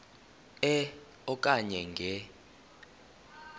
e okanye nge